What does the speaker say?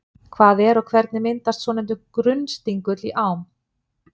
Hvað er og hvernig myndast svonefndur grunnstingull í ám?